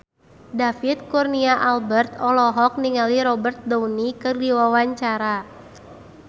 David Kurnia Albert olohok ningali Robert Downey keur diwawancara